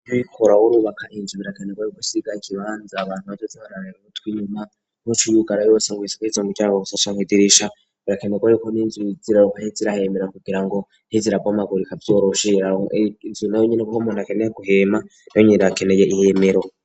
Uyo ubaka inzu birakeneko ariko usiga ikibanzi abantu bazoja bararira butwi inyuma nkuce yubugara yose ngo yisikize umuryango gusasha nkidirisha birakenego riko n'inzu ziraruka irahemera nkugira ngo ntizirabomagurika inzu nayo nyene gukomona keneya guhema nayo ininerakeneye ihemero.